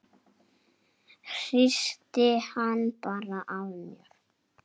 Hristi hann bara af mér.